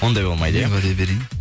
ондай болмайды иә уәде берейін